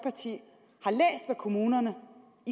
at kommunerne